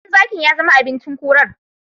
Ɗan zakin yazama abinci kurar